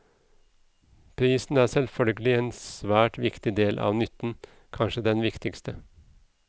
Pris er selvfølgelig en svært viktig del av nytten, kanskje den viktigste.